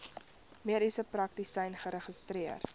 mediese praktisyn geregistreer